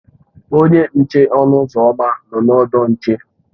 Onye nche ọnụ ụzọ ámá nọ na ọdụ nche.